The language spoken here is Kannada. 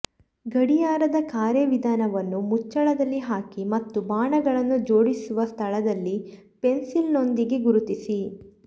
ಗಡಿಯಾರದ ಕಾರ್ಯವಿಧಾನವನ್ನು ಮುಚ್ಚಳದಲ್ಲಿ ಹಾಕಿ ಮತ್ತು ಬಾಣಗಳನ್ನು ಜೋಡಿಸುವ ಸ್ಥಳದಲ್ಲಿ ಪೆನ್ಸಿಲ್ನೊಂದಿಗೆ ಗುರುತಿಸಿ